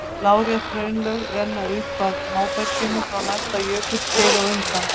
Lárétt hraunlög renna upp að móberginu frá næsta jökulskeiði á undan.